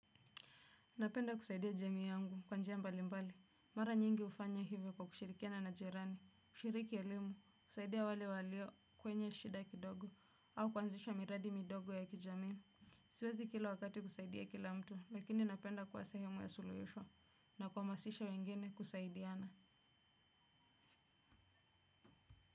Napenda kusaidia jamii yangu kwa njia mbali mbali. Mara nyingi hufanya hivyo kwa kushirikiana na jirani. Kushiriki elimu husaidia wale walio kwenye shida kidogo au kuanzishwa miradi midogo ya kijamii. Siwezi kila wakati kusaidia kila mtu, lakini napenda kuwa sahemu ya suluhisho na kuhamasisha wengine kusaidiana.